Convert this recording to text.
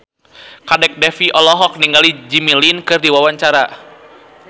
Kadek Devi olohok ningali Jimmy Lin keur diwawancara